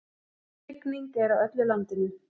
Rigning er á öllu landinu